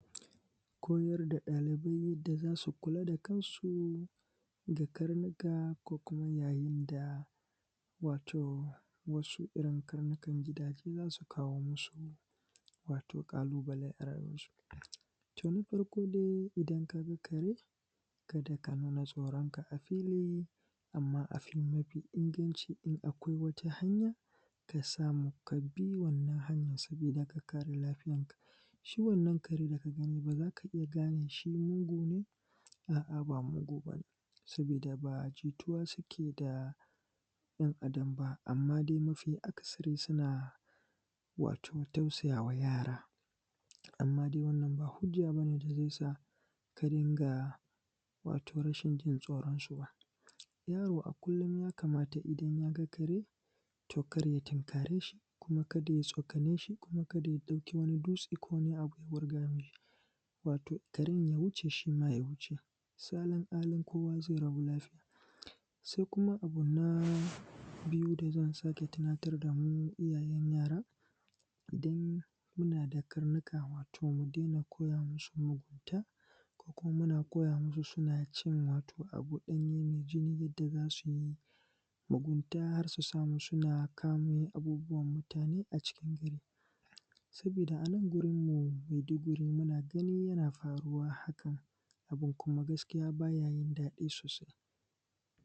koyar da ɗalibai da za su kula da kansu da karnuka ko kuma yayin da wato wasu irin karnukan gidaje su za su kawo musu wato ƙalubale a rayuwansu tun farko dai idan ka ga kare kada ka nuna tsoranka a fili amman abu mafi inganci in akwai wata hanya ka samu ka bi wannan hanyar sabida ka kare lafiyar ka shi wannan kare da ka gani ba za ka iya gane shi mugu ne a’a ba mugu bane sabida ba jituwa suke da ɗan adam ba amman dai mafi akasari suna wato tausaya wa yara amman dai wannan ba hujja ba ne da zai sa ka din ga wato rashin jin tsoran su ba yaro a kullum ya kamata idan ya ga kare to kar ya tunkare shi kuma ka da ya tsokane shi kuma kada ya ɗauki dutse ko wani abu ya wurga mishi wato karen ya wuce shima ya wuce salin alin kowa zai rabu lafiya sai kuma abu na biyu da zan sake tunatar da mu iyayen yara idan kuna da karnuka wato mu daina koya musu mugunta ko kuma muna koya musu suna cin wato abu ɗanye mai jini da za su mugunta har su samu suna kamo abubuwan mutane a cikin gari sabida a nan gurin mu maiduguri muna gani yana faruwa hakan abun kuma gaskiya bayayin daɗi sosai